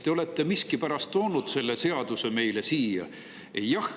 Te olete miskipärast toonud selle seadus meile siia.